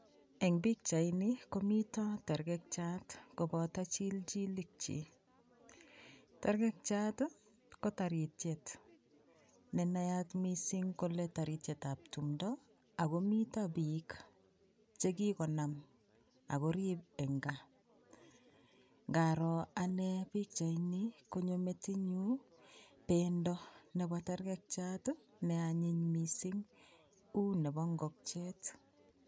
Eng pikchaini komito tergekchat koboto chilchilikyik. Tergekchat ko taritiet ne nayat mising kole taritietab tumndo ago mito biik che kigonam ak korib eng kaa. Ngaroo anne pichaini, konyo metinyu bendo nebo tergekchat ne anyiny mising, uu nebo ingokiet.